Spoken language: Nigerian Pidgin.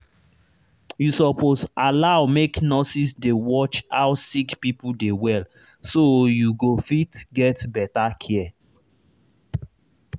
you suppose allow make nurses dey watch how sick people dey well so you go fit get better care